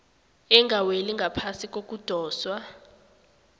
engaweli ngaphasi kokudoswa